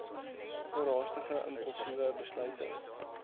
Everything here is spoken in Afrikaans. oorhaastige impulsiewe besluite